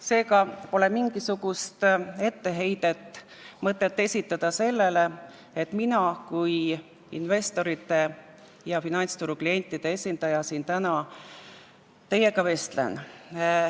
Seega pole mingisugust mõtet etteheiteid esitada, et mina kui investorite ja finantsturu klientide esindaja siin täna teiega vestlen.